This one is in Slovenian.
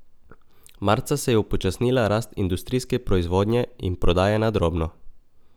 Marca se je upočasnila rast industrijske proizvodnje in prodaje na drobno.